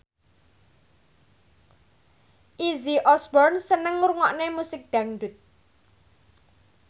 Izzy Osborne seneng ngrungokne musik dangdut